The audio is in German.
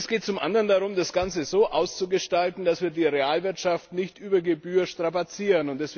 Und es geht zum anderen darum, das Ganze so auszugestalten, dass wir die Realwirtschaft nicht über Gebühr strapazieren.